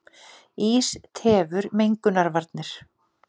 Ís tefur mengunarvarnir